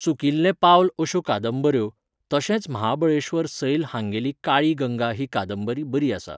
चुकिल्लें पावल अश्यो कादंबऱ्यो, तशेंच महाबळेश्वर सैल हांगेली काळी गंगा ही कादंबरी बरी आसा